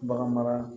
Bagan mara